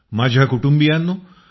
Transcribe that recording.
माझ्या कुटुंबियांनो